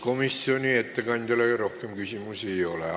Komisjoni ettekandjale rohkem küsimusi ei ole.